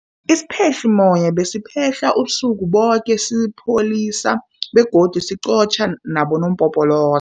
Isiphehlimmoya besiphehla ubusuku boke sisipholisa begodu siqotjha nabonompopolo